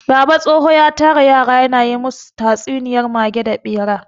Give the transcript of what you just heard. Baba tsoho ya tara yara ya na yi masu tatsuniyar mage da ɓera.